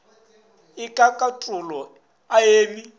e ka katolo a me